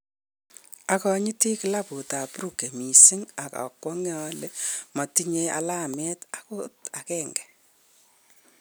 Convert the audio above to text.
Akanyiti klabut ab Brugge missing ak a kwong'e ale matinye alamet angot agenge